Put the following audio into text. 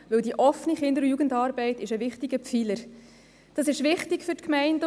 Die Offene Kinder- und Jugendarbeit (Okja) ist ein wichtiger Pfeiler, der wichtig ist für die Gemeinden.